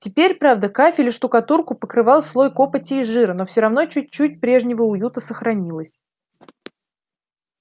теперь правда кафель и штукатурку покрывал слой копоти и жира но всё равно чуть-чуть прежнего уюта сохранилось